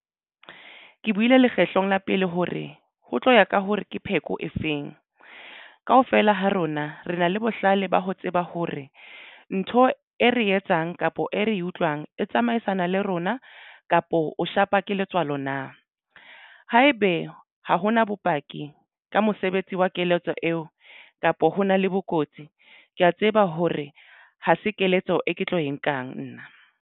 Ke buile lekgetlo la pele hore ho tlo ya ka hore ke pheko e feng. Kaofela ha rona re na le bohlale ba ho tseba hore ntho e re etsang kapa e re utlwang e tsamaisana le rona kapo o shapa ke letswalo na. Haebe ha hona bopaki ka mosebetsi wa keletso eo kapa hona le bokotsi. Ke ya tseba hore ha se keletso e ke tlo e nkang nna.